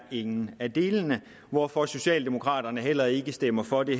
ingen af delene er hvorfor socialdemokraterne heller ikke stemmer for det